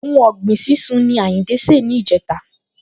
Ohun ọ̀gbìn sísún ni Àyìndé ṣe ni ìjẹta